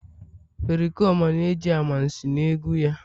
Pericoma na-eji amansi na egwu ya..